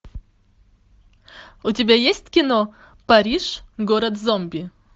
у тебя есть кино париж город зомби